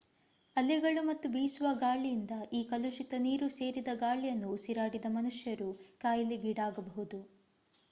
ಅಲೆಗಳು ಮತ್ತು ಬೀಸುವ ಗಾಳಿಯಿಂದ ಈ ಕಲುಷಿತ ನೀರು ಸೇರಿದ ಗಾಳಿಯನ್ನು ಉಸಿರಾಡಿದ ಮನುಷ್ಯರು ಕಾಯಿಲೆಗೀಡಾಗಬಹುದು